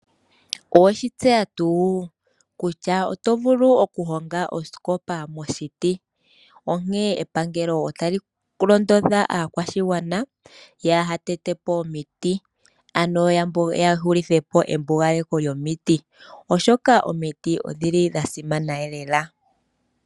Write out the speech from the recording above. Oweshi tseya tuu kutya oto vulu okuhonga osikopa moshiti? Onkene epangelo otali londodha aakwashigwana yahatete po omiti, ano ya hulithepo embugaleko lyomiti, oshoka omiti odhili dha simana lela.